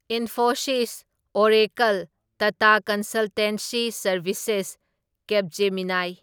Infosys, Oracle, Tata consultancy services, Capgemini.